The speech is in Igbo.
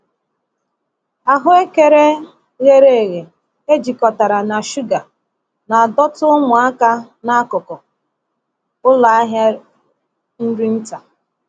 Ahuekere ghere eghe e jikọtara na shuga na-adọta ụmụaka n’akụkụ ụlọ ahịa nri nta.